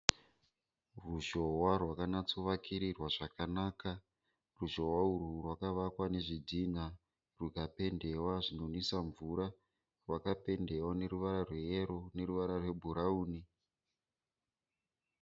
Ruzhowa rwakanyatsovakirirwa zvakanaka. Ruzhowa urwu rakavakwa ruchipinda mumagedhi zvinonwisa mvura, rwakapendiwa neruvara rweyellow neruvara rwebhurawuni.